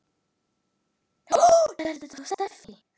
Hvað eru ópíöt?